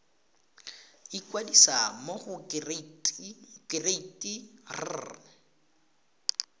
ikwadisa mo go kereite r